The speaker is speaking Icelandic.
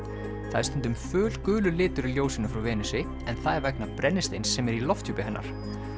það er stundum litur í ljósinu frá Venusi en það er vegna brennisteins sem er í lofthjúpi hennar